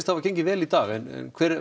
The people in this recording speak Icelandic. hafa gengið vel í dag en hver